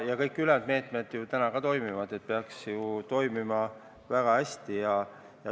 Ja kõik ülejäänud meetmed peaksid ju samuti väga hästi toimima.